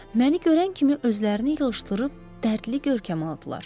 Məni görən kimi özlərini yığışdırıb dərdli görkəm aldılar.